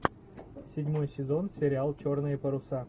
седьмой сезон сериал черные паруса